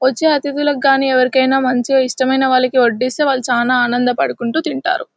వోచే అతిదులకి గని ఎవరికైనా మంచిగా ఇష్టమైన వాళ్ళకి ఓడిస్తే వాలు చానా ఆనందపాడుకుంటూ తింటారు.